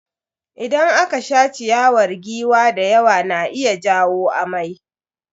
Idan aka sha ciyawar giwa da yawa na iya jawo amai.